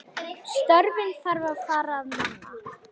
Störfin þar þarf að manna.